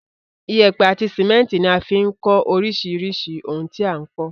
Iyẹ́pẹ́ àti cement ní a fi n kó orísirísì oun ti a n kó